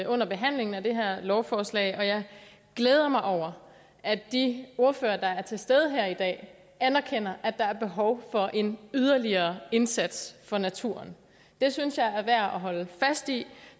under behandlingen af det her lovforslag og jeg glæder mig over at de ordførere der er til stede her i dag anerkender at der er behov for en yderligere indsats for naturen det synes jeg er værd at holde fast i